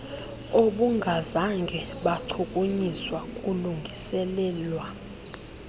obungazange bachukunyiswa kulungiselelwa